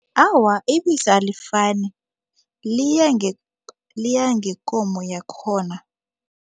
Awa, ibisi alifani liya liya ngekomo yakhona.